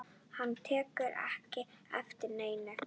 Hann tekur ekki eftir neinu.